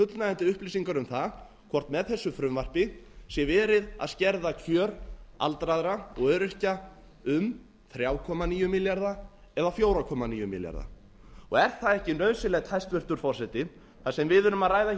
fullnægjandi upplýsingar um það hvort með þessu frumvarpi sé verið að skerða kjör aldraðra og öryrkja um þrjú komma níu milljarða eða fjögur komma níu milljarða er það ekki nauðsynlegt hæstvirtur forseti þar sem við erum að ræða hér